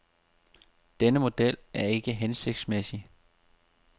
Denne model er ikke hensigtsmæssig.